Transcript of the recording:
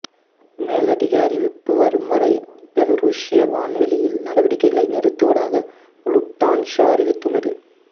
மேலதிக அறிவிப்பு வரும் வரை பெலருசிய வான்வெளியில் நடவடிக்கைகளை நிறுத்துவதாக லுஃப்தான்சா அறிவித்துள்ளது